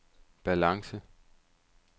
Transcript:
balance